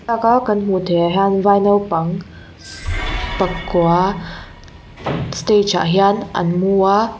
thlalak a kan hmuh theih ah hian vai naupang pakua stage ah hian an mu a.